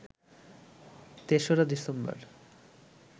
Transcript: ৩রা December